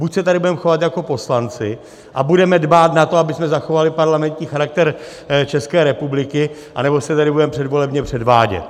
Buď se tady budeme chovat jako poslanci a budeme dbát na to, abychom zachovali parlamentní charakter České republiky, anebo se tady budeme předvolebně předvádět.